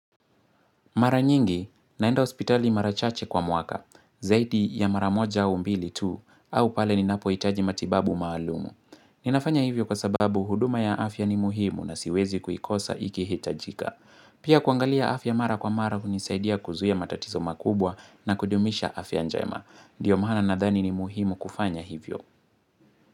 Mara nyingi, naenda hospitali mara chache kwa mwaka, zaidi ya mara moja au mbili tu, au pale ninapohitaji matibabu maalumu. Ninafanya hivyo kwa sababu huduma ya afya ni muhimu na siwezi kuikosa ikihitajika. Pia kuangalia afya mara kwa mara hunisaidia kuzuia matatizo makubwa na kudumisha afya njema. Dio maana nadhani ni muhimu kufanya hivyo.